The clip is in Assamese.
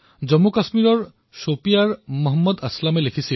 এই মন্তব্য জম্মু আৰু কাশ্মীৰৰ শোপিয়াং নিবাসী ভাই মহম্মদ আসলমৰ আছিল